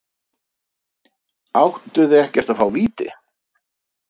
Áttu þið ekkert að fá víti?